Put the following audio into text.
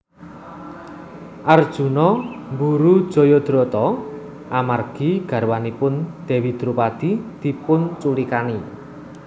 Arjuna mburu Jayadrata amargi garwanipun Dewi Dropadi dipunculikani